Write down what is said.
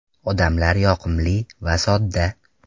Odamlar yoqimli va sodda.